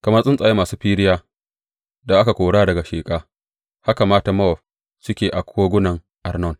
Kamar tsuntsaye masu firiya da aka kora daga sheƙa, haka matan Mowab suke a kogunan Arnon.